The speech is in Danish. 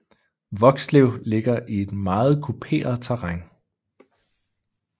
Vokslev ligger i et meget kuperet terræn